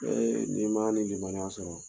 n'i man ani limaniya sɔrɔ.